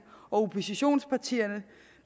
og oppositionspartierne